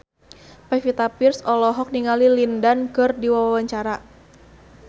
Pevita Pearce olohok ningali Lin Dan keur diwawancara